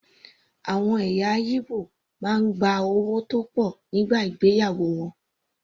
Àwọn ẹ̀yà Ìgbò máa ń gba owó tó pọ̀ nígbà ìgbéyàwó wọn.